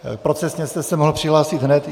Procesně jste se mohl přihlásit hned.